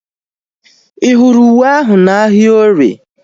Ị hụrụ uwe ahu na ahịa orie?